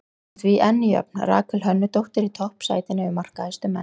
Hún er því enn jöfn Rakel Hönnudóttur í toppsætinu yfir markahæstu menn.